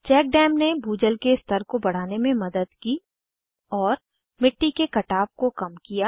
cheque dam ने भूजल के स्तर को बढ़ाने में मदद की और मिट्टी के कटाव को कम किया